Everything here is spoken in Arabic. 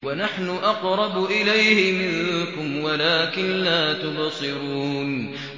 وَنَحْنُ أَقْرَبُ إِلَيْهِ مِنكُمْ وَلَٰكِن لَّا تُبْصِرُونَ